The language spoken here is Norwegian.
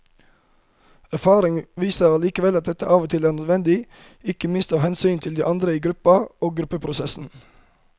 Erfaring viser allikevel at dette av og til er nødvendig, ikke minst av hensyn til de andre i gruppa og gruppeprosessen.